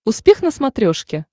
успех на смотрешке